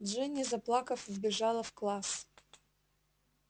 джинни заплакав вбежала в класс